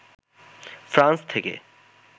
France থেকে